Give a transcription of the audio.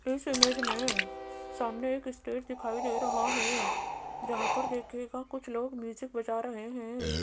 इस इमेज में सामने एक स्टेट दिखाई दे रहा है जहां पर देखिएगा कुछ लोग म्यूजिक बजा रहे हैं।